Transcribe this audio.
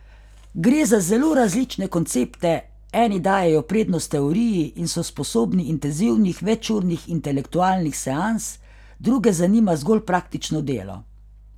Gre za zelo različne koncepte, eni dajejo prednost teoriji in so sposobni intenzivnih večurnih intelektualnih seans, druge zanima zgolj praktično delo.